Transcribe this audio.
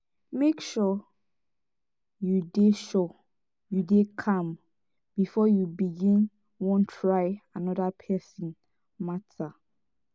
mek sure yu dey sure yu dey calm bifor you begin wan try anoda pesin mata